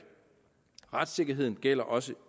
retssikkerheden gælder også